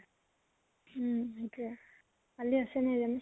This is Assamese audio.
উম সেইটোয়ে, কালি আছে নে